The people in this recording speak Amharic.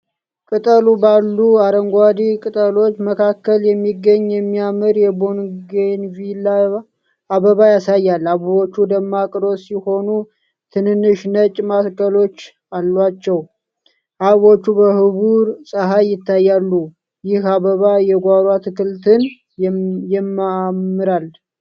ቅጥቅ ባሉ አረንጓዴ ቅጠሎች መካከል የሚገኝ የሚያምር የቦገንቪሊያ አበባ ያሳያል። አበቦቹ ደማቅ ሮዝ ሲሆኑ፣ ትንንሽ ነጭ ማዕከሎች አሏቸው። አበቦቹ በብሩህ ፀሐይ ይታያሉ። ይህ አበባ የጓሮ አትክልትን ያማምራል?